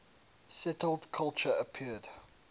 settled culture appeared